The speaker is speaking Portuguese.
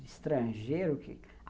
de estrangeiro.